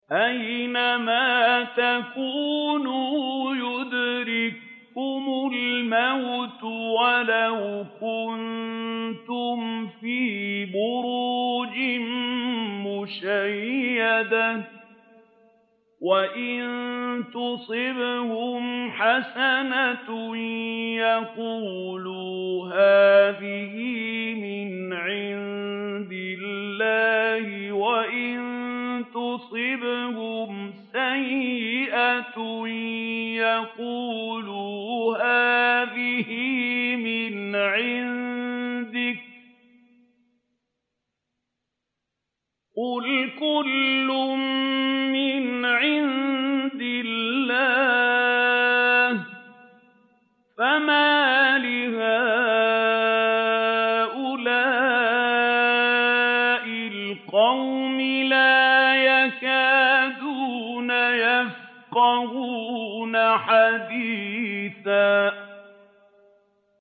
أَيْنَمَا تَكُونُوا يُدْرِككُّمُ الْمَوْتُ وَلَوْ كُنتُمْ فِي بُرُوجٍ مُّشَيَّدَةٍ ۗ وَإِن تُصِبْهُمْ حَسَنَةٌ يَقُولُوا هَٰذِهِ مِنْ عِندِ اللَّهِ ۖ وَإِن تُصِبْهُمْ سَيِّئَةٌ يَقُولُوا هَٰذِهِ مِنْ عِندِكَ ۚ قُلْ كُلٌّ مِّنْ عِندِ اللَّهِ ۖ فَمَالِ هَٰؤُلَاءِ الْقَوْمِ لَا يَكَادُونَ يَفْقَهُونَ حَدِيثًا